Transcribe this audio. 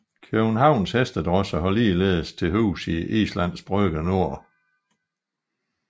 Københavns Hestedrosche har ligeledes til huse i Islands Brygge Nord